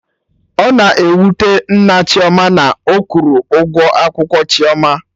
Ọ na-ewute Nna Chioma na ọ kwụrọ ụgwọ akwụkwọ Chioma